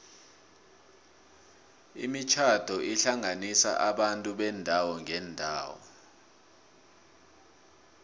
imitjhado ihlanganisa abantu beendawo ngeendawo